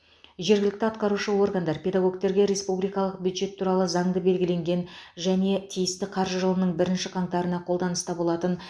жергілікті атқарушы органдар педагогтерге республикалық бюджет туралы заңда белгіленген және тиісті қаржы жылының бірінші қаңтарына қолданыста болатын